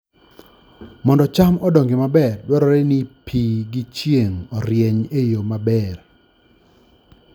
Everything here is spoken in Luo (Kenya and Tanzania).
Mondo cham odongi maber, dwarore ni pi gi chieng' orieny e yo maber.